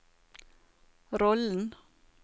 rollen